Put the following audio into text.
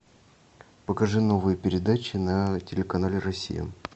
покажи новые передачи на телеканале россия